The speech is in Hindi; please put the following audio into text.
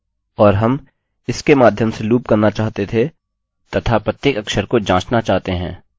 और हम इसके माध्यम से लूप करना चाहते थे तथा प्रत्येक अक्षर को जाँचना चाहते हैं